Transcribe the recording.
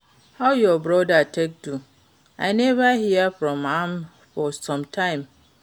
How your brother take do? I never hear from am for some time.